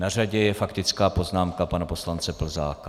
Na řadě je faktická poznámka pana poslance Plzáka.